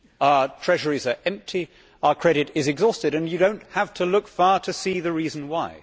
Our treasuries are empty, our credit is exhausted and you do not have to look far to see the reason why.